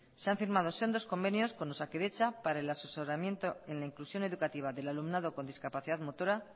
se han firmado sendos convenios con osakidetza para el asesoramiento en la inclusión educativa del alumnado con discapacidad motora